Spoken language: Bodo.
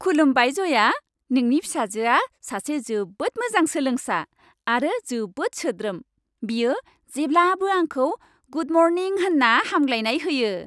खुलुमबाइ जया, नोंनि फिसाजोआ सासे जोबोद मोजां सोलोंसा आरो जोबोद सोद्रोम। बियो जेब्लाबो आंखौ गुड मर्निं होन्ना हामग्लायनाय होयो।